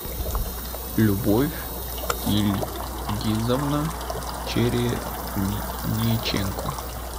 любовь ильгизовна черениченко